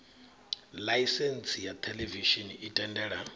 ḽaisentsi ya theḽevishini i tendela